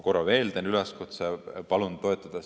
Korra veel teen üleskutse: palun toetada!